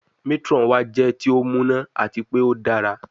Matron wa jẹ ti o muna ati pe o dara